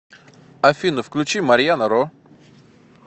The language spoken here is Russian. афина включи марьяна ро